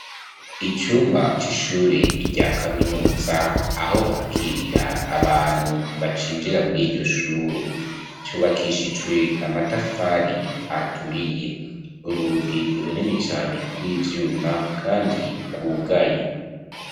Icumba c'ishure rya kaminuza aho bakirira abantu bacinjira muriryo shure, cubakishijwe amatafari aturiye, urugi runini cane rw'ivyuma kandi rwugaye